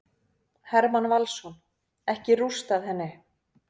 Hermann Valsson: Ekki rústað henni.